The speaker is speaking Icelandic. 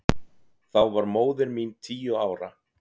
Þá var móðir mín tíu ára.